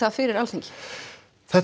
fyrir Alþingi þetta